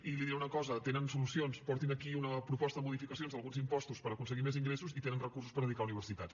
i li diré una cosa tenen solucions portin aquí una proposta de modificacions d’alguns impostos per aconseguir més ingressos i tenen recursos per dedicar a universitats